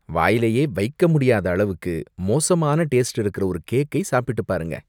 வாயிலேயே வைக்கவே முடியாத அளவுக்கு மோசமான டேஸ்ட் இருக்குற ஒரு கேக்கை சாப்பிட்டுப் பாருங்க.